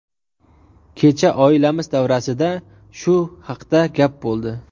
Kecha oilamiz davrasida shu haqda gap bo‘ldi.